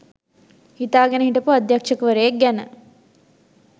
හිතාගෙන හිටපු අධ්‍යක්ෂවරයෙක් ගැන